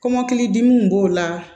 Kɔmɔkilidimiw b'o la